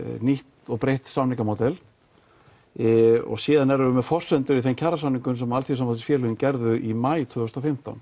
nýtt og breytt samningamódel síðan erum við með forsendur í þeim kjarasamningum sem gerðu í maí tvö þúsund og fimmtán